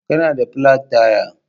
Kana da plat taya.